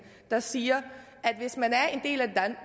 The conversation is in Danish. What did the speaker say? der siger